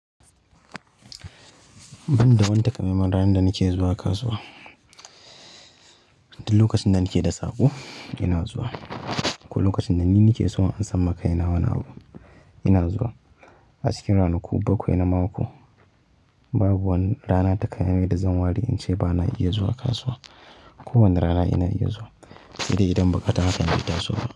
Ban da wani takamaiman ranar da nake zuwa kasuwa. Duk lokacin da nake da saƙo ina zuwa ko lokacin da ni nake so in san makai nawa ni abu, ina zuwa. A cikin ranaku bakwai na mako babu wani rana takamaiman da zan wari in ce ba na iya zuwa kasuwa. Ko wanne rana ina iya zuwa, saidai idan ba kata hakan bai kaso ba.